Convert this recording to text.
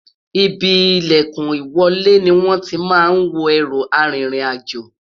Ìbí ìlèkùn ìwọlé ni wón tí má n wò erú àrin rìn àjọ